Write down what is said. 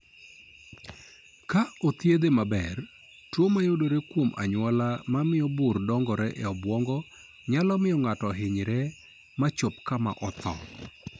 Ka ok othiedhe maber, tuo mayudore kuom anyuola mamio bur dongore e obwongo nyalo miyo ng'ato ohinyre ma chop kama otho.